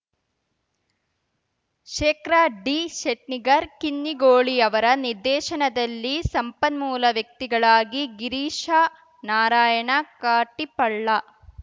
ಶೇಖರ್‌ ಡಿಶೆಟ್ನಿಗರ್‌ ಕಿನ್ನಿಗೋಳಿಯವರ ನಿರ್ದೇಶನದಲ್ಲಿ ಸಂಪನ್ಮೂಲ ವ್ಯಕ್ತಿಗಳಾಗಿ ಗಿರೀಶ ನಾರಾಯಣ ಕಾಟಿಪಳ್ಳ